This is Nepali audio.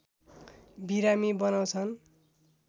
बिरामी बनाउँछन्